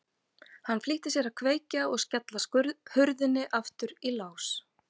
Hann flýtti sér að kveikja og skella hurðinni aftur í lás.